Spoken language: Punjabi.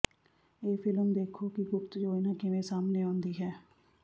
ਇਹ ਫ਼ਿਲਮ ਦੇਖੋ ਕਿ ਗੁਪਤ ਯੋਜਨਾ ਕਿਵੇਂ ਸਾਹਮਣੇ ਆਉਂਦੀ ਹੈ